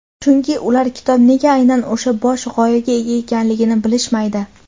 chunki ular kitob nega aynan o‘sha bosh g‘oyaga ega ekanligini bilishmaydi.